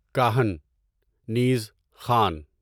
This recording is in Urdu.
کاہن نیز، خان